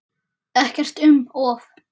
Ekkert um of.